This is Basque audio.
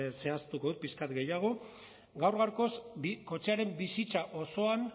zehaztuko dut pixka bat gehiago gaur gaurkoz kotxearen bizitza osoan